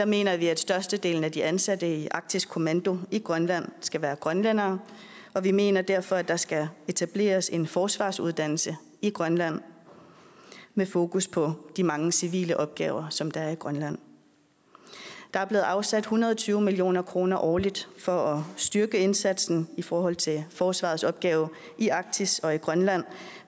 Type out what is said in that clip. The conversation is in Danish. mener vi at størstedelen af de ansatte i arktisk kommando i grønland skal være grønlændere og vi mener derfor at der skal etableres en forsvarsuddannelse i grønland med fokus på de mange civile opgaver som der er i grønland der er blevet afsat en hundrede og tyve million kroner årligt for at styrke indsatsen i forhold til forsvarets opgave i arktis og i grønland